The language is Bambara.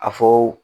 A fɔ